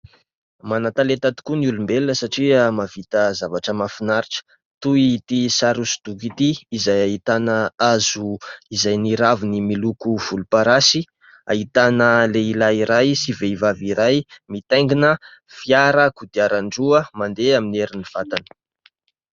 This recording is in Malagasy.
Manan-talenta tokoa ny olombelona satria mahavita zavatra mahafinaritra toy ity sary hosodoko ity izay ahitana hazo izay ny raviny miloko volomparasy, ahitana lehilahy iray sy vehivavy iray mitaingina fiara kodiaran-droa mandeha amin'ny herin'ny vatany.